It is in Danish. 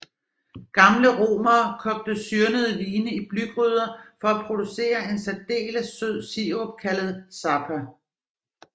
Gamle romere kogte syrnede vine i blygryder for at producere en særdeles sød sirup kaldet sapa